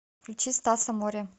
включи стаса море